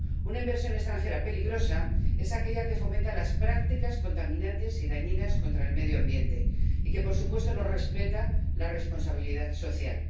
Una inversión extranjera peligrosa es aquella que fomenta las prácticas contaminantes y dañinas contra el medio ambiente y que, por supuesto, no respeta la responsabilidad social.